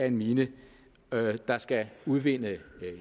en mine der skal udvinde